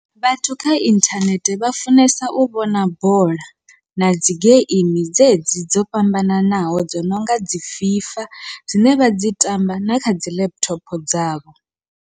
Vhathu kha inthanethe vha funesa u vhona bola, na dzi geimi dzedzi dzo fhambananaho dzo nonga dzi FIFA dzine vha dzi tamba na kha dzi laptop dzavho.